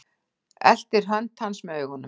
Eltir hönd hans með augunum.